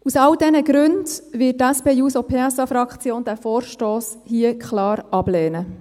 Aus all diesen Gründen wird die SP-JUSO-PSA-Fraktion den Vorstoss klar ablehnen.